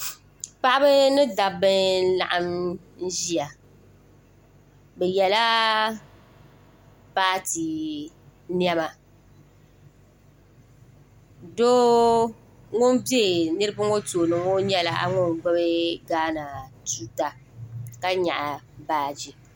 Paɣaba ni dabba n laɣim n ʒia bɛ yela paati niɛma doo ŋun be niriba ŋɔ tooni ŋɔ nyɛla ŋun gbibi gaana tuuta ka nyaɣi baaji.